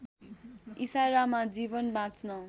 इसारामा जीवन बाँच्न